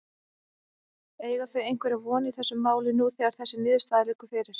Eiga þau einhverja von í þessu máli nú þegar þessi niðurstaða liggur fyrir?